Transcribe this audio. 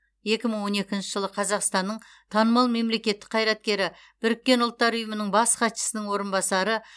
екі мың он екінші жылы қазақстанның танымал мемлекеттік қайраткері біріккен ұлттар ұйымының бас хатшысының орынбасары